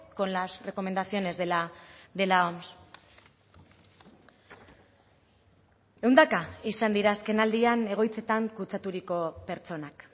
con las recomendaciones de la oms ehundaka izan dira azken aldian egoitzetan kutsaturiko pertsonak